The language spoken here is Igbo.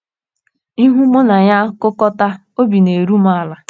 Ihu mụ na ya kukọta, obi na - eru m ala. ”